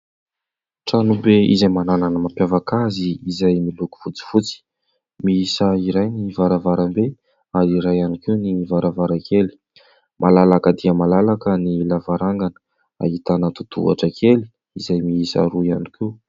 Tranobe izay manana ny mampiavaka azy izay miloko fotsifotsy, miisa iray ny varavaram-be ary iray ihany koa ny varavarankely ; malalaka dia malalaka ny lavarangana ahitana totohatra kely izay miisa roa ihany koa.